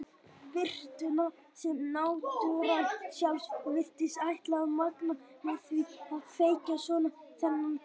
Birtuna sem náttúran sjálf virtist ætla að magna með því að kveikja svona þennan dag.